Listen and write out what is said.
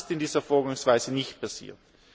Auch das ist bei dieser Vorgangsweise nicht passiert.